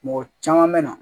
Mɔgɔ caman bɛ na